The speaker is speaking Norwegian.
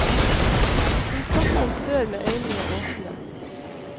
Hun satt som før med øynene åpne.